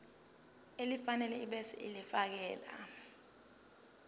elifanele ebese ulifiakela